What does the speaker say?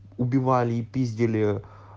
убивали и пиздили